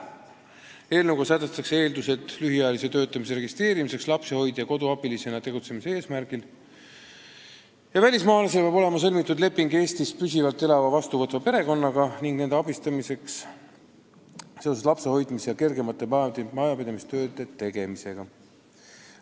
Eelnõuga sätestatakse, et lühiajalise lapsehoidja-koduabilisena töötamise registreerimiseks peab välismaalasel olema sõlmitud leping Eestis püsivalt elava teda vastuvõtva perekonnaga, et peret abistatakse lapse hoidmisel ja kergemate majapidamistööde tegemisel.